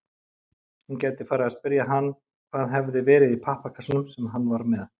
Hún gæti farið að spyrja hann hvað hefði verið í pappakassanum sem hann var með.